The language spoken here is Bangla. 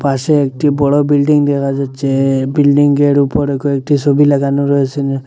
পাশে একটি বড় বিল্ডিং দেখা যাচ্ছে বিল্ডিংয়ের উপরে কয়েকটি সবি লাগানো রয়েসে।